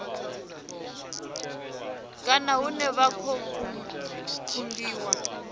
kana hune vha khou kungiwa